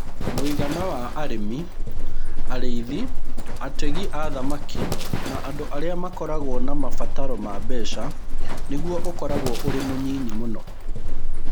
Mũigana wa arimi, arĩithi, ategi a thamaki, na andũ arĩa makoragwo na mabataro ma mbeca nĩguo ũkoragwo ũrĩ mũnyinyi mũno.